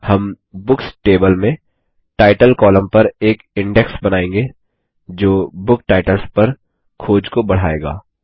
हम books table में title column पर एक इंडेक्स बनाएँगे जो बुक टाइटल्स पर खोज को बढ़ाएगा